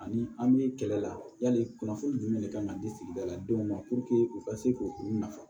Ani an bɛ kɛlɛ la yali kunnafoni jumɛn de kan ka di sigida la denw ma u ka se k'u u nafa